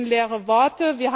Es sind leere Worte.